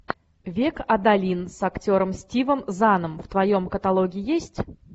век адалин с актером стивом заном в твоем каталоге есть